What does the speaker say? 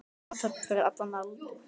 Athöfn fyrir allan aldur.